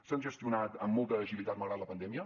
s’han gestionat amb molta agilitat malgrat la pandèmia